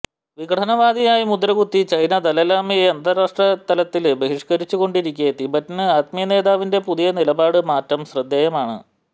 വിഘടനവാദിയായി മുദ്രകുത്തി ചൈന ദലൈലാമയെ അന്താരാഷ്ട്രത്തില് ബഹിഷ്കരിച്ചുകൊണ്ടിരിക്കെ തിബറ്റന് ആത്മീയ നേതാവിന്റെ പുതിയ നിലപാട് മാറ്റം ശ്രദ്ധേയമാണ്